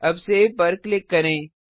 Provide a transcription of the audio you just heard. अब सेव पर क्लिक करें